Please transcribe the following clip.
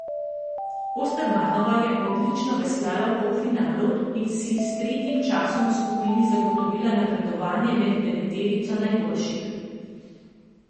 Ostermanova je odlično veslala v polfinalu in si s tretjim časom v skupini zagotovila napredovanje med deveterico najboljših.